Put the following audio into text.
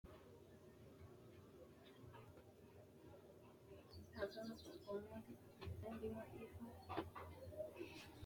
maa xawissanno aliidi misile ? hiitto akati woy kuuli noose yaa dandiinanni tenne misilera? qooxeessisera noori maati ? tini barbare hiissiinannite